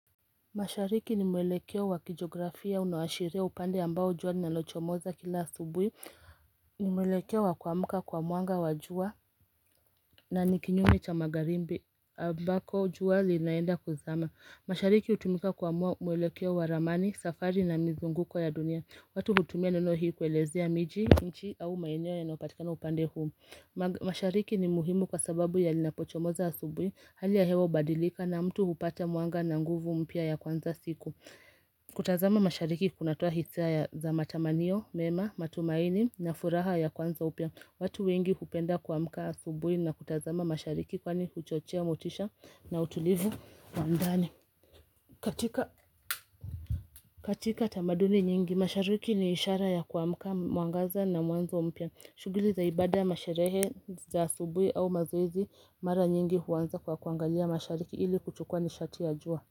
Mashariki ni mwelekeo wa kijografia unaoasharia upande ambao jua linalochomoza kila asubuhi ni mwelekeo wa kuamka kwa mwanga wa jua na ni kinyume cha magharibi ambako jua linaenda kuzama. Mashariki hutumika kuamua mwelekeo wa ramani safari na mizunguko ya dunia. Watu hutumia neno hii kuelezea miji nchi au maeneo yanayopatikana upande huu. Mashariki ni muhimu kwa sababu yalinapochomoza asubuhi Hali ya hewa hubadilika na mtu hupata mwanga na nguvu mpya ya kuanza siku kutazama mashariki kunatoa hisia za matamanio, mema, matumaini na furaha ya kuanza upya watu wengi hupenda kuamka asubuhi na kutazama mashariki kwani huchochea motisha na utulivu wa ndani. Katika katika tamaduni nyingi, mashariki ni ishara ya kuamka mwangaza na mwanzo upia shughuli za ibada masherehe za asubuhi au mazoezi mara nyingi huqnza kwa kuangalia mashariki ili kuchukua nishati ya jua.